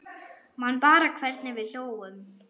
Man bara hvernig við hlógum.